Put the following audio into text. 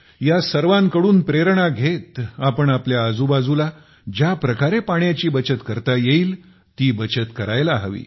या सर्वांकडून प्रेरणा घेत आपण आपल्या आजूबाजूला ज्या प्रकारे पाण्याची बचत करता येईल आपण बचत करायला हवी